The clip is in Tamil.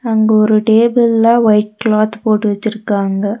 அங்க ஒரு டேபிள்ல ஒயிட் கிளாத் போட்டு வெச்சுருக்காங்க.